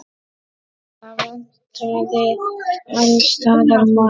Það vantaði alls staðar mat.